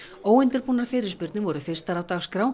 óundirbúnar fyrirspurnir voru fyrstar á dagskrá